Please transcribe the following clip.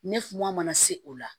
Ne funan mana se o la